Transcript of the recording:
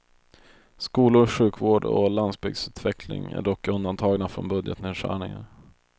Skolor, sjukvård och landsbygdsutveckling är dock undantagna från budgetnedskärningar.